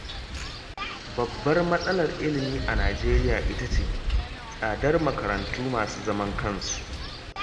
Babbar matsalar ilimi a Najeriya ita ce, tsadar makarantu masu zaman kansu